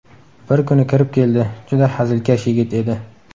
Bir kuni kirib keldi, juda hazilkash yigit edi.